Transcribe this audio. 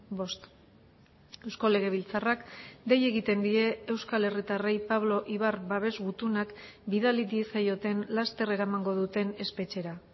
bost eusko legebiltzarrak dei egiten die euskal herritarrei pablo ibar babes gutunak bidali diezaioten laster eramango duten espetxera